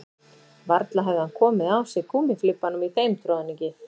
Varla hefði hann komið á sig gúmmíflibbanum í þeim troðningi